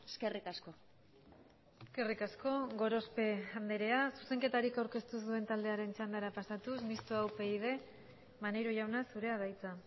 eskerrik asko eskerrik asko gorospe andrea zuzenketarik aurkeztu ez duen taldearen txandara pasatuz mistoa upyd maneiro jauna zurea da hitza